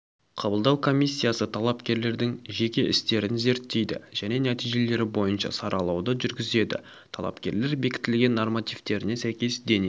қабылдау комиссиясы талапкерлердің жеке істерін зерттейді және нәтижелері бойынша саралауды жүргізеді талапкерлер бекітілген нормативтеріне сәйкес дене